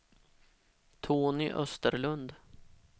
Tony Österlund